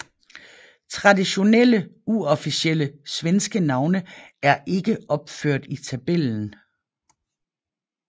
Traditionelle uofficielle svenske navne er ikke opført i tabellen